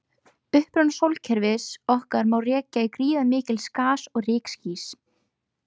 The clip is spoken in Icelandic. Uppruna sólkerfis okkar má rekja til gríðarmikils gas- og rykskýs.